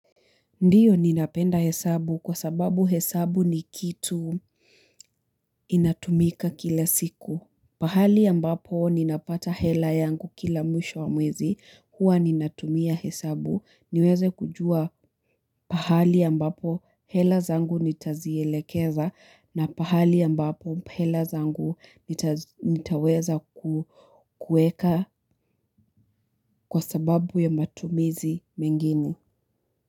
Ndiyo ninapenda hesabu kwa sababu hesabu ni kitu inatumika kila siku. Pahali ambapo ninapata hela yangu kila mwisho wa mwezi, huwa ninatumia hesabu. Niweze kujua pahali ambapo hela zangu nitazielekeza na pahali ambapo hela zangu nitaweza kuweka kwa sababu ya matumizi mengini.